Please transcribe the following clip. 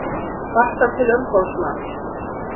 Kvarta til umboðsmanns